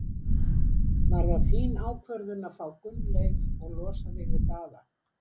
Var það þín ákvörðun að fá Gunnleif og losa þig við Daða?